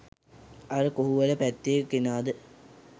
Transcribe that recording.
අර කොහුවල පැත්තෙ කෙනාද